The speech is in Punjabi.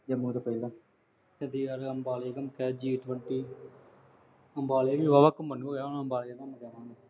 ਜੰਮੂ ਤੋਂ ਪਹਿਲਾਂ। ਚੰਡੀਗੜ੍ਹ, ਅੰਬਾਲੇ ਘੁੰਮ ਕੇ ਆਉਣਾ ਅੰਬਾਲੇ ਵੀ ਵਾਹਾਵਾ ਘੁੰਮਣ ਨੂੰ ਹੋਗਿਆ ਹੁਣ, ਅੰਬਾਲੇ ਘੁੰਮ ਕੇ ਆਵਾਂਗੇ।